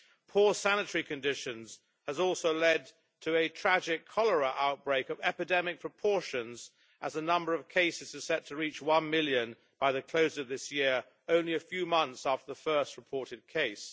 Poor sanitary conditions have also led to a tragic cholera outbreak of epidemic proportions as the number of cases is set to reach one million by the close of this year, only a few months after the first reported case.